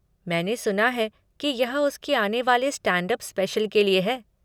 मैंने सुना है कि यह उसके आने वाले स्टैंड अप स्पेशल के लिए है।